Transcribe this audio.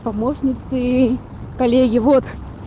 помощницей коллеги вот